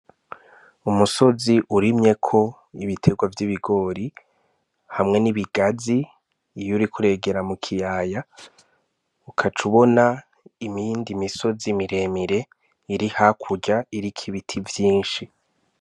Umusozi urimye ko ibiterwa vy'ibigori hamwe n'ibigazi iyo uriko uregera mu kiyaya ugaca ubona iyindi misozi miremire iri hakurya iriko ibiti vyishi.